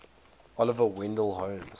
oliver wendell holmes